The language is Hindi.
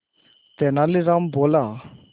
तेनालीराम बोला